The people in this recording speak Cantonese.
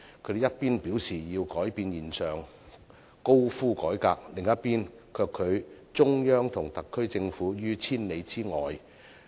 他們一邊廂表示要改變現狀，高呼改革，另一邊廂卻拒中央和特區政府於千里之外。